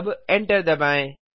अब एंटर दबाएँ